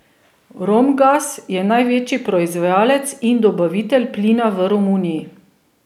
Romgaz je največji proizvajalec in dobavitelj plina v Romuniji.